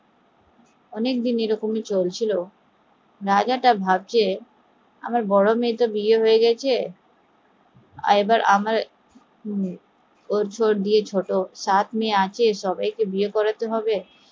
অনেকদিন এরকম চলছিল রাজাটা ভাবছে আমার বড় মেয়ের তো বিয়ে হয়ে গেছে এবার সাত মেয়ে আছে সব্বাই কে বিয়ে করতে হবে